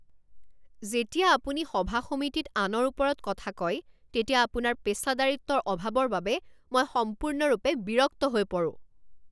যেতিয়া আপুনি সভা সমিতিত আনৰ ওপৰত কথা কয় তেতিয়া আপোনাৰ পেচাদাৰিত্বৰ অভাৱৰ বাবে মই সম্পূৰ্ণৰূপে বিৰক্ত হৈ পৰোঁ।